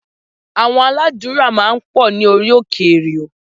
Àwọn aládùúrà máa ń pọ̀ ní orí òkè èrìò